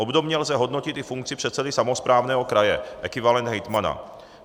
Obdobně lze hodnotit i funkci předsedy samosprávného kraje, ekvivalent hejtmana.